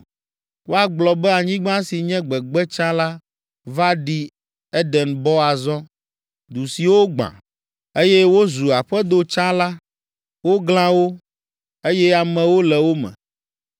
Woagblɔ be anyigba si nye gbegbe tsã la, va ɖi Edenbɔ azɔ. Du siwo gbã, eye wozu aƒedo tsã la, woglã wo, eye amewo le wo me.